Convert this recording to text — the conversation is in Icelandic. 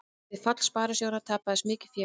Við fall sparisjóðanna tapaðist mikið fé